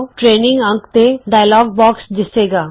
training ਅੰਕੜੇ dialog box ਦਿੱਸੇਗਾ